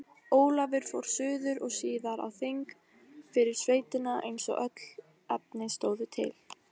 Ólafur fór suður og síðar á þing fyrir sveitina eins og öll efni stóðu til.